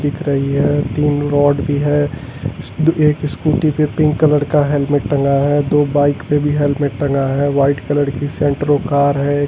दिख रही है तीन रोड भी है एक स्कूटी पे पिंक कलर का हेलमेट टंगा है दो बाइक पे भी हेलमेट टंगा है वाइट कलर की सेंट्रो कार है।